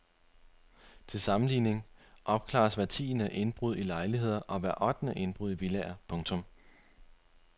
Til sammenligning opklares hvert tiende indbrud i lejligheder og hvert ottende indbrud i villaer. punktum